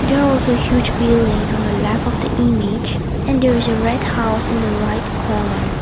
there also a huge buildings on the left of the image and there is a red house in the right corner.